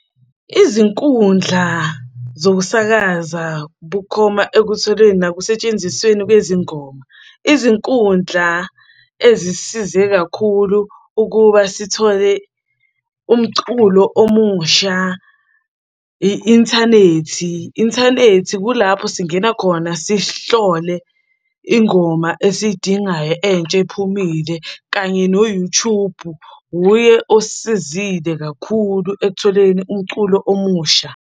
Izinkundla zokusakaza bukhoma ekutholeni nakusetshenzisweni kwezingoma. Izinkundla ezisisize kakhulu ukuba sithole umculo omusha i-inthanethi. Inthanethi kulapho singena khona sihlole ingoma esiyidingayo entsha ephumile, kanye no-YouTube, uye osisizile kakhulu ekutholeni umculo omusha.